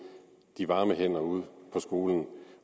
de varme hænder ude på skolerne